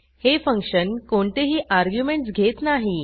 हे फंक्शन कोणतेही अर्ग्युमेंटस घेत नाही